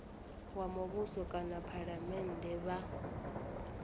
wa muvhuso kana phalamennde vha